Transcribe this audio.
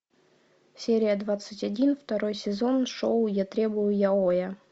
серия двадцать один второй сезон шоу я требую яоя